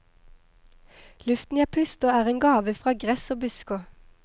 Luften jeg puster er en gave fra gress og busker.